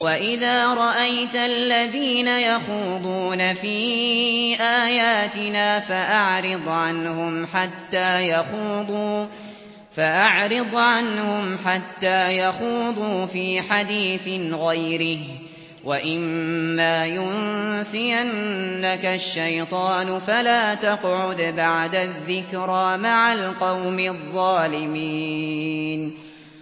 وَإِذَا رَأَيْتَ الَّذِينَ يَخُوضُونَ فِي آيَاتِنَا فَأَعْرِضْ عَنْهُمْ حَتَّىٰ يَخُوضُوا فِي حَدِيثٍ غَيْرِهِ ۚ وَإِمَّا يُنسِيَنَّكَ الشَّيْطَانُ فَلَا تَقْعُدْ بَعْدَ الذِّكْرَىٰ مَعَ الْقَوْمِ الظَّالِمِينَ